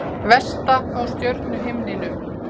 Vesta á stjörnuhimninum